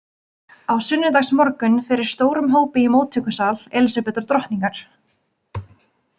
Á sunnudagsmorgun fyrir stórum hópi í móttökusal Elísabetar drottningar.